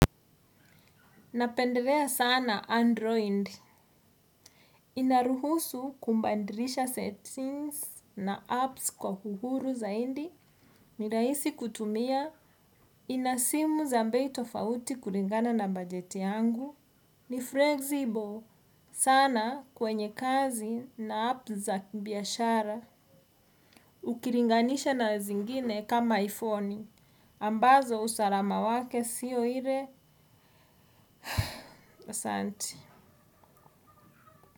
Napendelea sana 'Android'. Inaruhusu kubadilisha settings na apps kwa uhuru zaidi. Ni rahisi kutumia, ina simu za bei tofauti kulingana na bajeti yangu, ni 'flexible' sana kwenye kazi na 'apps' za kibiashara. Ukilinganisha na zingine kama IPhone. Ambazo usalama wake siyo ile. Asanti.